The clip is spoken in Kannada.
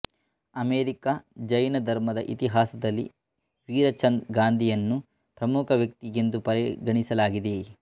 ಅಮೆರಿಕಾ ಜೈನ ಧರ್ಮದ ಇತಿಹಾಸದಲ್ಲಿ ವೀರಚಂದ್ ಗಾಂಧಿಯನ್ನು ಪ್ರಮುಖ ವ್ಯಕ್ತಿಯೆಂದು ಪರಿಗಣಿಸಲಾಗಿದೆ